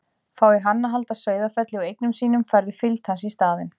Fái hann að halda Sauðafelli og eigum sínum færðu fylgd hans í staðinn.